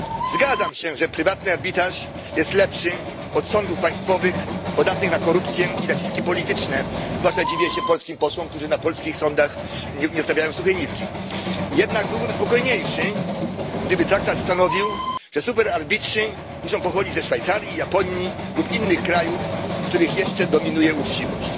Zgadzam się, że prywatny arbitraż jest lepszy od sądów państwowych podatnych na korupcję i naciski polityczne zwłaszcza dziwię się polskim posłom, którzy na polskich sądach nie zostawiają suchej nitki jednak byłbym spokojniejszy, gdyby traktat stanowił, że superarbitrzy muszą pochodzić ze Szwajcarii, Japonii lub innych krajów, w których jeszcze dominuje uczciwość.